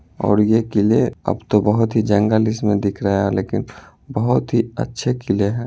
और ये किले अब तो बोहोत ही जंगल इसमें दिख रहा है लेकिन बोहोत ही अच्छे किले हैं ।